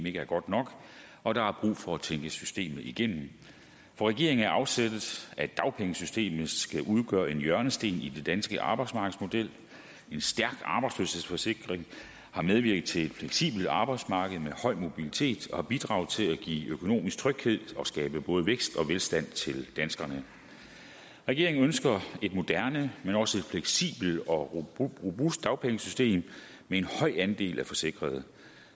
ikke er godt nok og der er brug for at tænke systemet igennem for regeringen er afsættet at dagpengesystemet skal udgøre en hjørnesten i den danske arbejdsmarkedsmodel en stærk arbejdsløshedsforsikring har medvirket til et fleksibelt arbejdsmarked med høj mobilitet og har bidraget til at give økonomisk tryghed og skabe både vækst og velstand til danskerne regeringen ønsker et moderne men også et fleksibelt og robust dagpengesystem med en høj andel af forsikrede